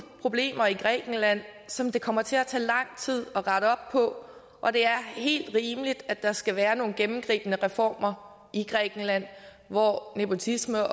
problemer i grækenland som det kommer til at tage lang tid at rette op på og det er helt rimeligt at der skal være nogle gennemgribende reformer i grækenland hvor nepotisme